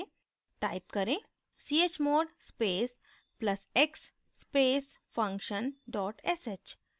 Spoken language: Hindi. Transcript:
type करें: chmod space plus x space function dot sh